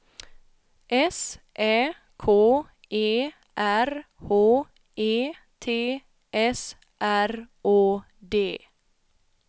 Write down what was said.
S Ä K E R H E T S R Å D